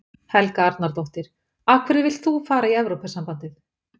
Helga Arnardóttir: Af hverju vilt þú fara í Evrópusambandið?